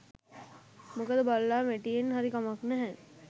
මොකද බළලා මැටියෙන් හරි කමක් නැහැ